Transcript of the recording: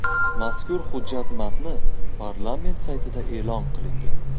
Mazkur hujjat matni parlament saytida e’lon qilingan .